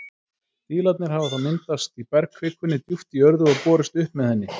Dílarnir hafa þá myndast í bergkvikunni djúpt í jörðu og borist upp með henni.